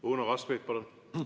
Uno Kaskpeit, palun!